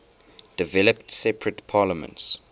developed separate parliaments